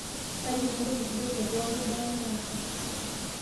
Tayiolo entoki sidai tee pooki bae naasa